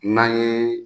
N'an ye